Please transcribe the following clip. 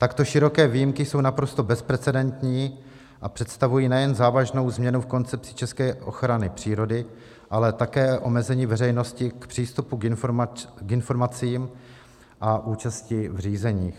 Takto široké výjimky jsou naprosto bezprecedentní a představují nejen závažnou změnu v koncepci české ochrany přírody, ale také omezení veřejnosti k přístupu k informacím a účasti v řízeních.